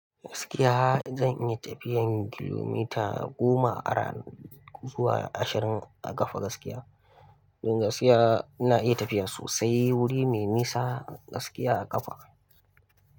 Gaskiya zan iya tafiyar kilomita goma a rana zuwa ashirin a kafa gaskiya. Don gaskiya ina iya tafiya sosai wuri mai nisa gaskiya a kafa.